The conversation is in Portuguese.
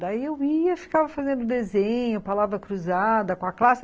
Daí eu ia, ficava fazendo desenho, palavra cruzada com a classe.